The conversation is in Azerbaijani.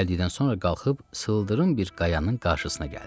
Dincəldikdən sonra qalxıb sıldırım bir qayanın qarşısına gəldi.